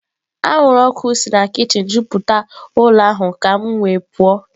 Anwụrụ ọkụ si na kichin juputara ụlọ ahụ ka m wee pụọ.